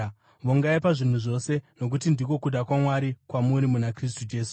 vongai pazvinhu zvose, nokuti ndiko kuda kwaMwari kwamuri muna Kristu Jesu.